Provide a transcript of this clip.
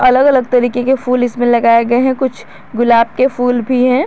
अलग अलग तरीके के फूल इसमें लगाए गए हैं कुछ गुलाब के फूल भी है।